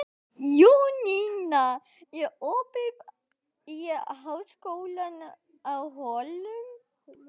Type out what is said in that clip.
Jónína, er opið í Háskólanum á Hólum?